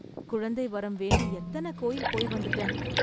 குழந்தை வரம் வேண்டி எத்தனை கோயில் போய் வந்துட்டேன்.